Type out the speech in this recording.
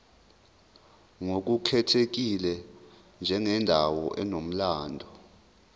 ngokukhethekile njengendawo enomlando